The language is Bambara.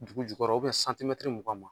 Dugu jukɔrɔ . O bi bɛn mugan ma.